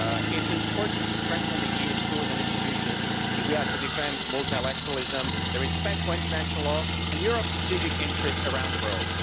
It's important to strengthen the EU's tools and institutions if we are to defend multilateralism, respect for international law and Europe's strategic interests around the world.